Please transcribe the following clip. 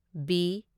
B